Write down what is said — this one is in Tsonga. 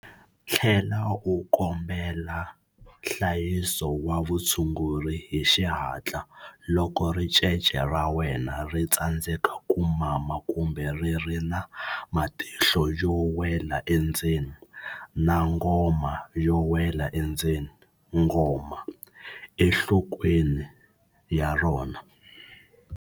Tlhela u kombela nhlayiso wa vutshunguri hi xihatla loko ricece ra wena ri tsandzeka ku mama kumbe ri ri na matihlo yo wela endzeni na ngoma yo wela endzeni, ngoma, enhlokweni ya rona.